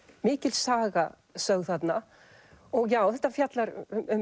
mikil saga sögð þarna já þetta fjallar